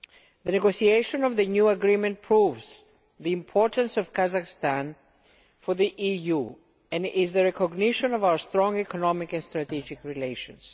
The negotiation of the new agreement proves the importance of Kazakhstan for the EU, and is the recognition of our strong economic and strategic relations.